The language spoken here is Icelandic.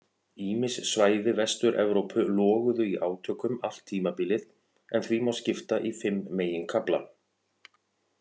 Ýmis svæði Vestur-Evrópu loguðu í átökum allt tímabilið en því má skipta í fimm meginkafla.